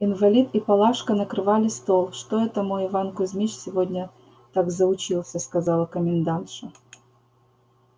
инвалид и палашка накрывали стол что это мой иван кузмич сегодня так заучился сказала комендантша